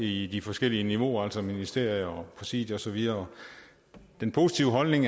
i de forskellige niveauer altså ministerier præsidiet og så videre den positive holdning